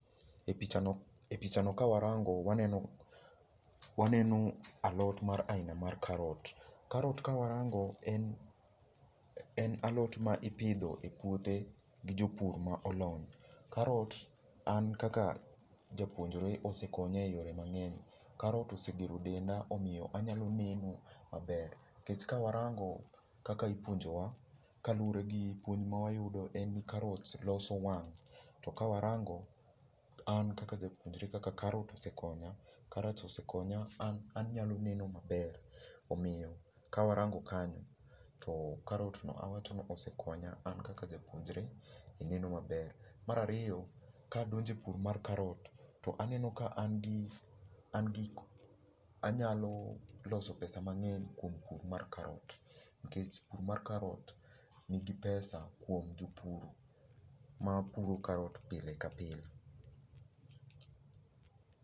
E picha no, e picha no ka warango, waneno waneno alot mar aina mar karot. Karot ka warango en, en alot ma ipidho e puothe gi jopur ma olony. Karot an kaka japuonjre osekonya e yore mang'eny. Karot osegero denda omiyo anyalo neno maber. Nikech ka warango kaka ipuonjowa, kaluwore gi puonj ma wayudo en ni karot loso wang'. To ka warango, an kaka japuonjre kaka karot osekonya, karot osekonya an anyalo neno maber. Omiyo ka warango kanyo, to karot no awacho ni osekonya an kaka japuonjre e neno maber. Mar ariyo, ka adonjo e pur mar karot, to aneno ka an gi, an gi, anyalo loso pesa mang'eny kuom pur mar karot. Nikech pur mar karot nigi pesa kuom jopur mapuro karot pile ka pile.